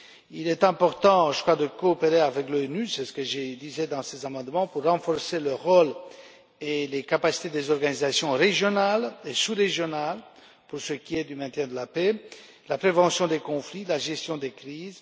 Il est important de coopérer avec l'ONU c'est ce que je disais dans ces amendements pour renforcer le rôle et les capacités des organisations régionales et sous régionales pour ce qui est du maintien de la paix, de la prévention des conflits et de la gestion des crises.